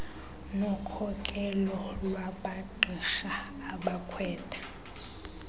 nokhokelo lwamagqirha abakhwetha